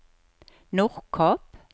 Nordkapp